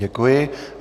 Děkuji.